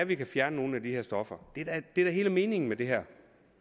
vi kan fjerne nogle af de her stoffer det er da hele meningen med det her